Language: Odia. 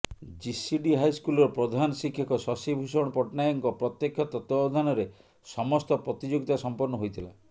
ଜିସିଡି ହାଇସ୍କୁଲର ପ୍ରଧାନ ଶିକ୍ଷକ ଶଶିଭୂଷଣ ପଟ୍ଟନାୟକଙ୍କ ପ୍ରତ୍ୟେକ୍ଷ ତତ୍ୱାବଧାନରେ ସମସ୍ତ ପ୍ରତିଯୋଗିତା ସଂପନ୍ନ ହୋଇଥିଲା